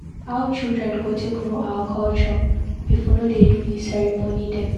How children go take know our culture if we no do dis ceremony dem.